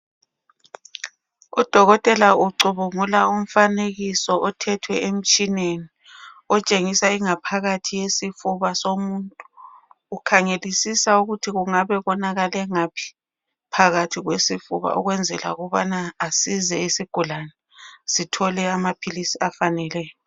Udokotela ucubungula umfanekiso othethwe emtshineni otshengisa ingaphakathi yesifuba somuntu. Ukhangelisisa ukuthi kungabe konakale ngaphi phakathi kwesifuba ukwenzela ukubana asize isigulane sithole amaphilisi afaneleyo.